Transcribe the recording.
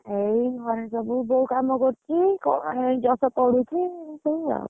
ଏଇ ବସିଛନ୍ତି ଯୋଉ କାମ କରୁଛି, କଣ ଏଇ ଜପ ପଢୁଛି ଏଇ ଆଉ।